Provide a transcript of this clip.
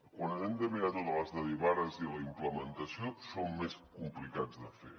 quan ens hem de mirar totes les derivades i la implementació són més complicats de fer